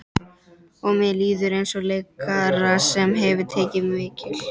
Og mér líður eins og leikara sem hefur tekið mikil